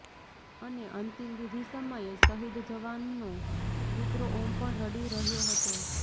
અને અંતિમવિધિ સમયે શહીદ જવાનનો પુત્ર ઓમ પણ રડી રહ્યો હતો